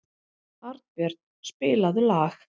Arnbjörn, spilaðu lag.